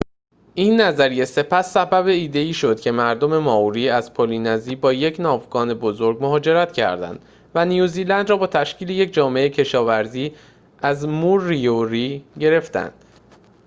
این نظریه سپس سبب ایده‌ای شد که مردم مائوری از پلی‌نزی با یک ناوگان بزرگ مهاجرت کردند و نیوزلند را با تشکیل یک جامعه کشاوری از موریوری گرفتند